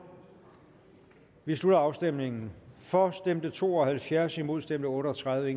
vi slutter afstemningen for stemte to og halvfjerds imod stemte otte og tredive